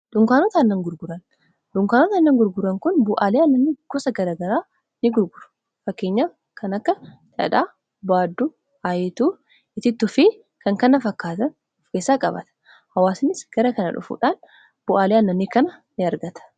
dhunkaanota innan gurguran kun bu'aalii annanni gosa garagaraa in gurguru fakkeenya kan akka dhaadhaa baadu aayituu itittu fi kan kana fakkaatan of keessaa qabata hawaasanis gara kana dhufuudhaan bu'aalee annanni kana in argata